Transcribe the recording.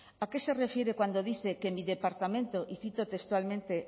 a qué se refiere cuando dice que en mi departamento y cito textualmente